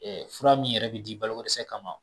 Fura min yɛrɛ bɛ di balokodɛsɛ kama